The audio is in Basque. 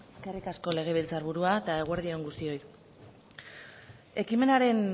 eskerrik asko legebiltzar burua eta eguerdi on guztioi ekimenaren